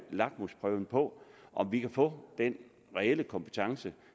lakmusprøven på om vi kan få den reelle kompetence